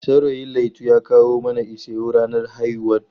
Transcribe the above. Saurayin Laitu ya kawo mana ishewu ranar haihuwarta.